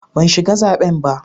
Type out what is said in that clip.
Ban shiga zaben ba.